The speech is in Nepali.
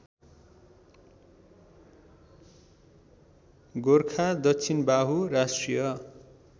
गोरखा दक्षिणबाहु राष्ट्रिय